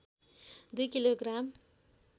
दुई kilo gram